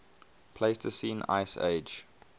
pleistocene ice age